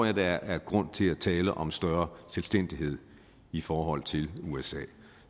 at der er grund til at tale om større selvstændighed i forhold til usa